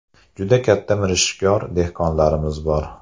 Juda katta mirishkor dehqonlarimiz bor.